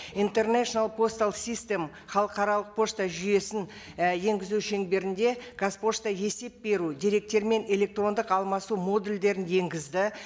интернейшнл постал систем халықаралық пошта жүйесін і енгізу шеңберінде қазпошта есеп беру деректермен электрондық алмасу модульдерін енгізді